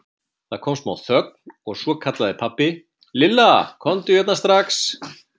Það kom smá þögn og svo kallaði pabbi: Lilla, komdu hérna strax.